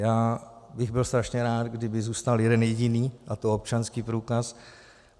Já bych byl strašně rád, kdyby zůstal jeden jediný, a to občanský průkaz.